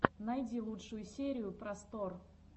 найди лучшую серию просторъ